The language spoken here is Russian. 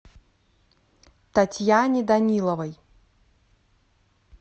татьяне даниловой